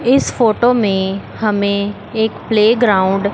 इस फोटो में हमें एक प्लेग्राउंड --